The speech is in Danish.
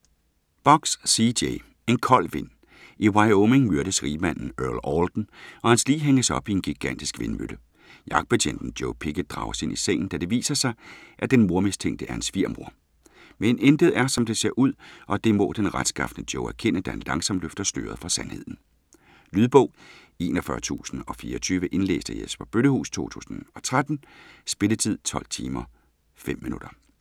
Box, C. J.: En kold vind I Wyoming myrdes rigmanden Earl Alden, og hans lig hænges op i en gigantisk vindmølle. Jagtbetjenten Joe Pickett drages ind i sagen, da det viser sig, at den mordmistænkte er hans svigermor. Men intet er, som det ser ud, og det må den retskafne Joe erkende, da han langsomt løfter sløret for sandheden. Lydbog 41024 Indlæst af Jesper Bøllehuus, 2013. Spilletid: 12 timer, 5 minutter.